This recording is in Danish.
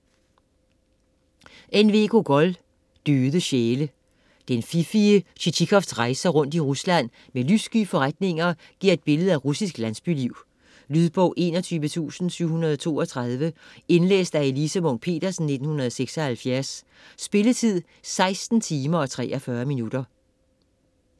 Gogol, N. V.: Døde sjæle Den fiffige Tjitjikovs rejser rundt i Rusland med lyssky forretninger giver et billede af russisk landsbyliv. Lydbog 21732 Indlæst af Elise Munch-Petersen, 1976. Spilletid: 16 timer, 43 minutter.